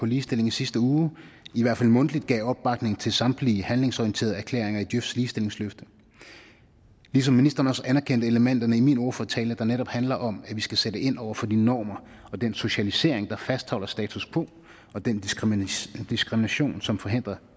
ligestilling i sidste uge i hvert fald mundtligt gav opbakning til samtlige handlingsorienterede erklæringer i djøfs ligestillingsløfte ligesom ministeren også anerkendte elementerne i min ordførertale der netop handler om at vi skal sætte ind over for de normer og den socialisering der fastholder status quo og den diskrimination diskrimination som forhindrer